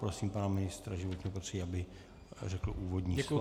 Prosím pana ministr životního prostředí, aby řekl úvodní slovo.